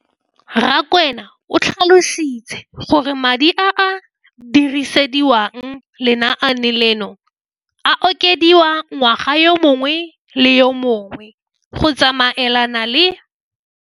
Rakwena o tlhalositse gore madi a a dirisediwang lenaane leno a okediwa ngwaga yo mongwe le yo mongwe go tsamaelana le.